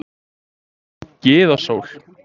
Gyða Sól